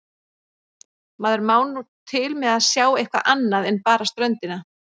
Maður má nú til með að sjá eitthvað annað en bara ströndina.